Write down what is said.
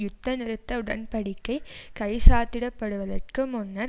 யுத்த நிறுத்த உடன் படிக்கை கைச்சாத்திடப்படுவதற்கு முன்னர்